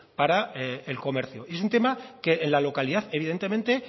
para el comercio y es un tema que en la localidad evidentemente